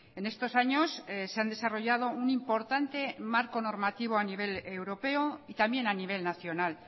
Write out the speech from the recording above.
en estos años se han desarrollado un importante marco normativo a nivel europeo y también a nivel nacional